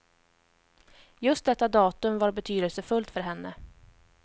Just detta datum var betydelsefullt för henne.